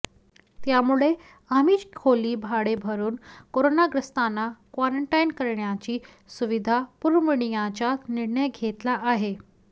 त्यामुळे आम्हीच खोली भाडे भरून करोनाग्रस्तांना क्वारंटाईन करण्याची सुविधा पुरविण्याचा निर्णय घेतला आहे